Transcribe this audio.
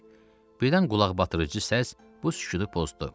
Birdən qulaqbatırıcı səs bu sükutu pozdu.